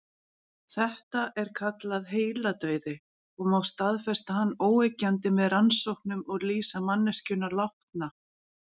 Þetta er kallað heiladauði og má staðfesta hann óyggjandi með rannsóknum og lýsa manneskjuna látna.